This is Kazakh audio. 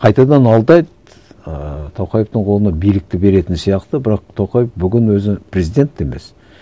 қайтадан алдайды ыыы тоқаевтың колына билікті беретін сияқты бірақ тоқаев бүгін өзі президент те емес